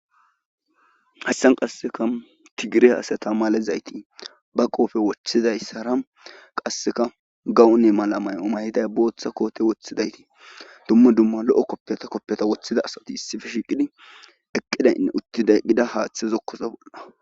hassan qasseka tigire haasata malezayti ba qoofe woththidayssara qasseka gawunne mala may7o mayiday booththa koote woththidaytii dumma dumma lo7o koppiyata woththida asati issife shiiqidi eqqidaynne uttida gida haaththezokkoso bolna